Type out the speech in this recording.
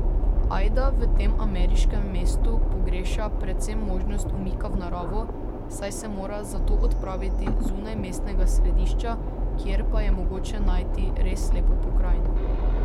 Ajda v tem ameriškem mestu pogreša predvsem možnost umika v naravo, saj se mora za to odpraviti zunaj mestnega središča, kjer pa je mogoče najti res lepo pokrajino.